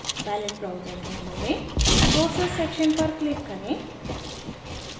palette browser window में sources section पर click करें